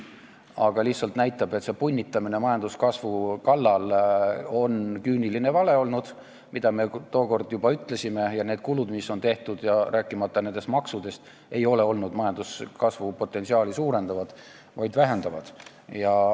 See lihtsalt näitab, et see majanduskasvu kallal punnitamine on olnud küüniline vale, mida me juba tookord ütlesime, ja need tehtud kulud, rääkimata maksudest, ei ole majanduskasvu potentsiaali suurendanud, vaid vähendanud.